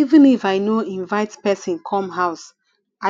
even if i no inivte pesin come house